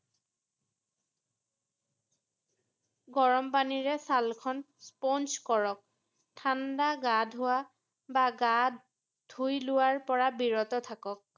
গৰম পানীৰে ছালখন sponge কৰক ৷ ঠাণ্ডা গা ধোৱা বা গা ধুই লোৱাৰ পৰা বিৰত থাকক ৷